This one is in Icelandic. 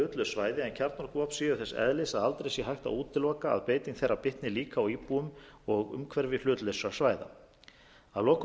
svæði en kjarnorkuvopn séu þess eðlis að aldrei sé hægt að útiloka að beiting þeirra bitni líka á íbúum og umhverfi hlutlausra svæða að lokum